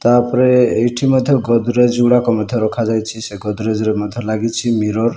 ତା ଫରରେ ଏଇଠି ମଧ୍ଯ ଗୋଦ୍ରେଜ ଗୁଡାକ ମଧ୍ଯ ରଖାଯାଇଛି ସେ ଗୋଦ୍ରେଜରେ ମଧ୍ଯ ଲାଗିଛି ମିରର ।